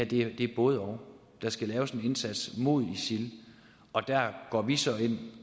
det er både og der skal gøres en indsats mod isil og der går vi så ind